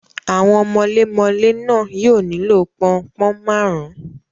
Àwọn mọlémọlẹ́ náà yóò nílò pọn-un-pọ̀n máàrún.